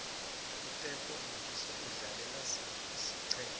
uteko modise udlalela siphi isiqema